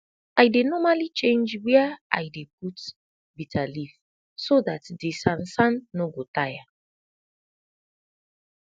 i dey normali change wia i dey put bitter leaf so dat de sansan no go taya